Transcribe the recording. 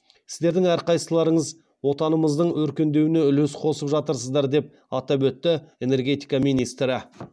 сіздердің әрқайсыларыңыз отанымыздың өркендеуіне үлес қосып жатырсыздар деп атап өтті энергетика министрі